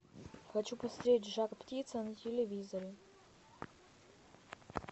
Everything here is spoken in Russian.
хочу посмотреть жар птица на телевизоре